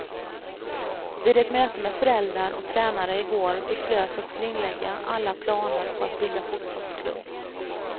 Vid ett möte med föräldrar och tränare igår beslöts att skrinlägga alla planer på att bilda fotbollsklubb.